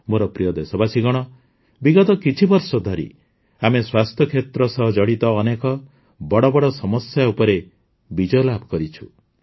ମୋର ପ୍ରିୟ ଦେଶବାସୀଗଣ ବିଗତ କିଛିବର୍ଷ ଧରି ଆମେ ସ୍ୱାସ୍ଥ୍ୟକ୍ଷେତ୍ର ସହ ଜଡ଼ିତ ଅନେକ ବଡ଼ ବଡ଼ ସମସ୍ୟା ଉପରେ ବିଜୟଲାଭ କରିଛୁ